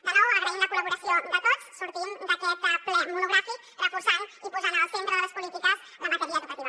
de nou agraint la col·laboració de tots sortim d’aquest ple monogràfic reforçant i posant en el centre de les polítiques la matèria educativa